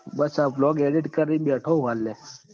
બસ આ blog edit કરીન બેઠોં હું લ્યા